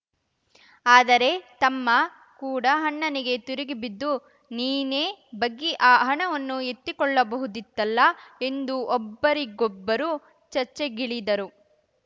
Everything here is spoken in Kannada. ಆದರೆ ತಮ್ಮ ಕೂಡ ಅಣ್ಣನಿಗೆ ತಿರುಗಿ ಬಿದ್ದು ನೀನೇ ಬಗ್ಗಿ ಆ ಹಣವನ್ನು ಎತ್ತಿಕೊಳ್ಳಬಹುದಿತ್ತಲ್ಲ ಎಂದು ಒಬ್ಬರಿಗೊಬ್ಬರು ಚರ್ಚೆಗಿಳಿದರು